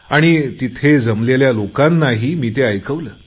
आणि तिथल्या जमलेल्या लोकांनाही मी ते ऐकवले